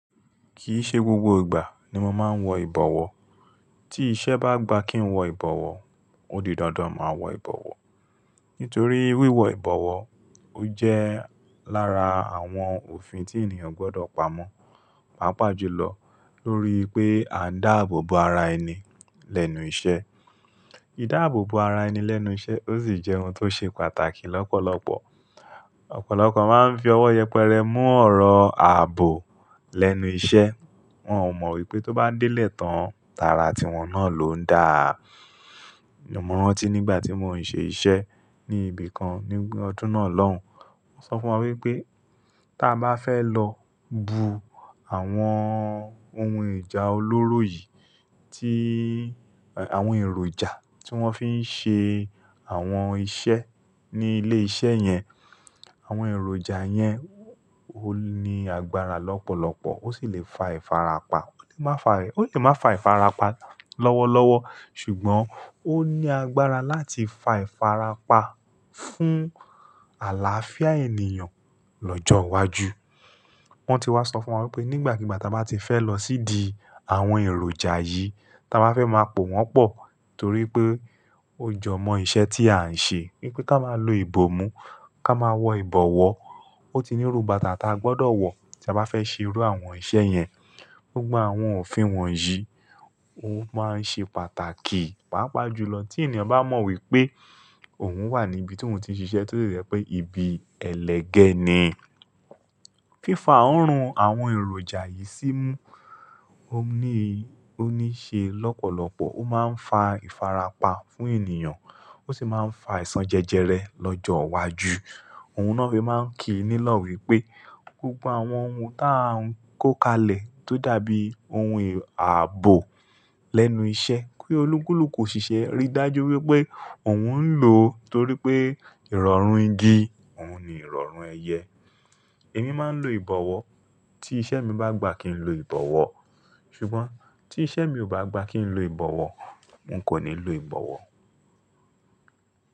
Kì í ṣe gbogbo ìgbà ni mo máa ń wọ ìbọ̀wọ̀. Tí iṣẹ́ bá gba kí n wọ ìbọ̀wọ̀, ó di dandan máa wọ ìbọ̀wọ̀. Nítorí wíwọ ìbọ̀wọ̀ ó jẹ́ lára àwọn òfin tí ènìyàn gbọ́dọ̀ pamọ́, pàápàá jùlọ lórí pé a ń dáàbò bo ara ẹni lẹ́nu iṣẹ́. Idààbò bo ara ẹni lẹ́nu iṣẹ́ ó sì jẹ́ ohun tó ṣe pàtàkì lọ́pọ̀lọpọ̀. Ọ̀pọ̀lọpọ̀ máa ń fi ọwọ́ yẹpẹrẹ mú ọ̀rọ̀ ààbò lẹ́nu iṣẹ́. Wọn ò mọ̀ wípé tó bá délé tán, tara tiwọn náà ló ń dà. Mo rántí nígbà tí mò ń ṣe iṣẹ́ ní ibìkan ní ọdún náà lọ́hùn, wọ́n sọ fún wa wípé tí a bá fẹ́ lọ bu àwọn ohun ìjà olóró yìí tí, àwọn èròjà tí wọ́n fi ń ṣe àwọn iṣẹ́ ní ilé iṣẹ́ yẹn. Àwọn èròjà yẹn ó ní agbára lọ́pọ̀lọpọ̀ ó sì lè fa ìfarapa. Ó lè má fa rẹ̀, ó lè má fa ìfarapa lọ́wọ́lọ́wọ́ ṣùgbọ́n ó ní agbára láti fa ìfarapa fún àlàáfíà ènìyàn lọ́jọ́ iwájú. Wọ́n ti wá sọ fún wa wípé nígbàkigbà tí a bá ti fẹ́ lọ sídi àwọn èròjà yìí, tí a bá fẹ́ máa pò wọ́n pọ̀ torí pé ó jọmọ́ iṣẹ́ tí à ń ṣe wípé ká máa lo ìbòmú, ká máa wọ ìbọ̀wọ̀. Ó ti ní irú bàtà tí a gbọ́dọ̀ wọ tí a bá fẹ́ ṣerú àwọn iṣẹ́ yẹn. Gbogbo àwọn òfin wọ̀nyí ó máa ń ṣe pàtàkì, pàápàá jùlọ tí ènìyàn bá mọ̀ wípé òun wà ní ibi tí òun ti ń ṣiṣẹ́ tó de jẹ́ pé ibi ẹlẹ́gẹ̀ ni. Fífa òórùn àwọn èròjà yìí sí mú ó ní, ó ní ṣe lọ́pọ̀lọpọ̀, ó máa ń fa ìfarapa fún ènìyàn, ó sì máa ń fa aisàn jẹjẹrẹ lọ́jọ́ iwájú. Ohun na fí máa ń kii nílọ̀ wípé gbogbo àwọn ohun taa ń kó kalẹ̀ tó dàbí ohun ààbò lẹ́nu iṣẹ́ pé olúkúlùkù ṣìṣẹ́ rí dájú wípé òun ń lò ó nítorí pé ìrọ̀rùn igi òun ni ìrọ̀rùn ẹyẹ. Èmi máa ń lo ìbọ̀wọ̀ tí iṣẹ́ mi bá gba kí n lo ìbọ̀wọ̀. Ṣùgbọ́n tí iṣẹ́ mi ò bá gba kí n lo ìbọ̀wọ̀, n kò ní lo ìbọ̀wọ̀.